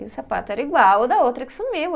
E o sapato era igual o da outra que sumiu.